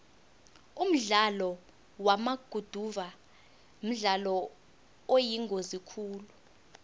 umdlalo wamaguduva mdlalo oyingozi khulu